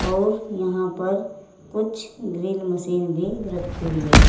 और यहां पर कुछ ड्रिल मशीन भी रखी हुई है।